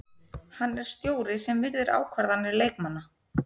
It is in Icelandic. Hann er stjóri sem virðir ákvarðanir leikmanna.